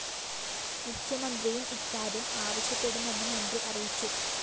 മുഖ്യമന്ത്രിയും ഇക്കാര്യം ആവശ്യപ്പെടുമെന്ന് മന്ത്രി അറിയിച്ചു